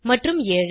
மற்றும் 7